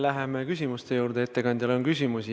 Läheme küsimuste juurde, ettekandjale on küsimusi.